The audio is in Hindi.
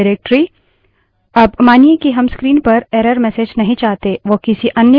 अब मानिए कि हम screen पर error messages नहीं चाहते now किसी अन्य file में रिडाइरेक्ट कर सकते हैं